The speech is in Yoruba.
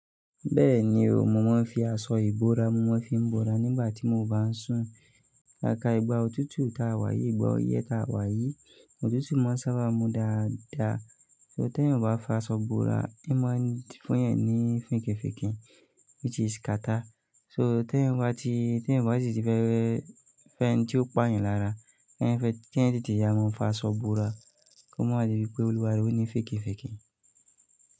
Bẹ́ẹ̀ni o, mo máa ń fi aṣọ ìbora, mo máa ń fi bora nígbà tí mo bá ń sùn. Pápá, ìgbà òtútù ta wá yìí, ìgbà ọyẹ́ ta wá yìí, òtútù máa ń sábà mú dáadáa. So ti eyan ọ bá fi aṣọ bora, ẹin máa fún eyan ní fikifiki which is kata. So ti eyan bá ti, ti ryan ọ bá sì ti fẹ́ fẹ́ ẹin tí ó pa eyan lára, kí ẹyan tètè yá mọn fa aṣọ bora, kí ó máa di wipé olúwaàárẹ òní fèkefèkè.